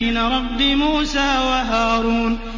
رَبِّ مُوسَىٰ وَهَارُونَ